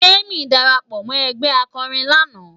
Temi dàrápò mò ègbè àkòrín làná